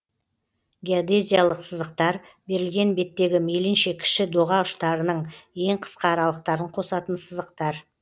геодезиялық сызықтар берілген беттегі мейлінше кіші доға ұштарының ең қысқа аралықтарын қосатын сызықтар